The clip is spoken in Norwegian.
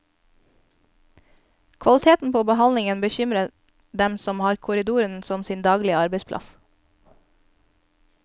Kvaliteten på behandlingen bekymrer dem som har korridoren som sin daglige arbeidsplass.